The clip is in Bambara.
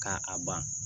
Ka a ban